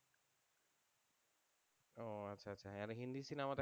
ও আচ্ছা আচ্ছা আর হিন্দি সিনেমা দেখা